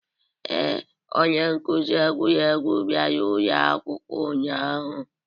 Ee, onye nkuzi egwuregwu bịara ụlọ akwụkwọ ụnyahụ.